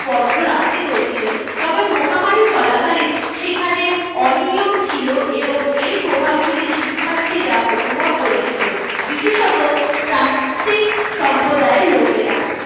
বন্ধ রাখতে হয়েছিল তবে মহামারী চলাকালীন সেখানে অনিয়ম ছিল এবং এর প্রভাব গুলি শিক্ষার্থীরা অনুভব করেছিল বিশেষত প্রান্তিক সম্প্রদায়ের লোকেরা